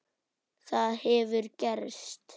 Það hefur gerst.